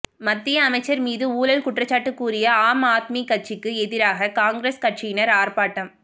மத்திய அமைச்சர் மீது ஊழல் குற்றச்சாட்டு கூறிய ஆம் ஆத்மி கட்சிக்கு எதிராக காங்கிரஸ் கட்சியினர் ஆர்ப்பாட்டம்